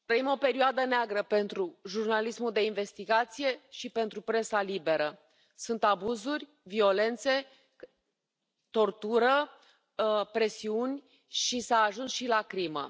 Doamna președinte, trăim o perioadă neagră pentru jurnalismul de investigație și pentru presa liberă. Sunt abuzuri, violențe, tortură, presiuni și s a ajuns și la crimă.